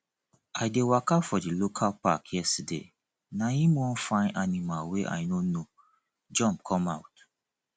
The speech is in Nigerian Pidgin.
i dey waka for di local park yesterday na him one fine animal wey i no know jump come out